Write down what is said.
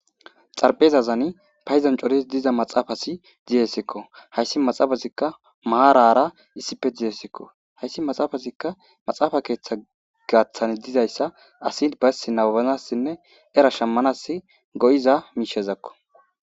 Xarpezazani paydo coridi dizaa maxafati dizaysako haysi maxaafazika maarara issipe dizaysako haysi maxaafazika maxaafa keetha gaathan dizaysa asi nababanasine era shamanasi go'iza miishazako.